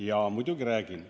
Jaa, muidugi räägin.